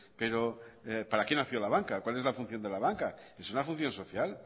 pero para que nació la banca cual es la función de la banca es una función social